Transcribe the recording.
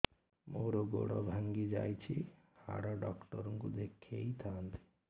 ମୋର ଗୋଡ ଭାଙ୍ଗି ଯାଇଛି ହାଡ ଡକ୍ଟର ଙ୍କୁ ଦେଖେଇ ଥାନ୍ତି